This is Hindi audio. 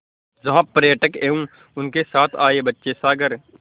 जहाँ पर्यटक एवं उनके साथ आए बच्चे सागर